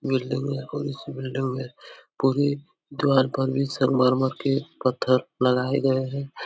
Building है और उसी बिल्डिंग में पूरी दीवाल पर ये संगमरमर के पत्थर लगाए गए हैं।